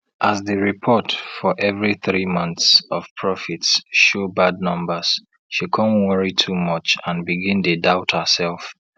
as di report for every three months of profits show bad numbers she come worry too much and begin dey doubt herself